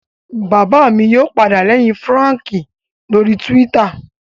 Bàbá mi yóò padà lẹ́yìn Fúràǹkì lórii túwítà